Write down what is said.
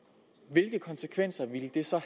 hvilke konsekvenser ville det så